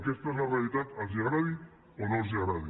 aquesta és la realitat els agradi o no els agradi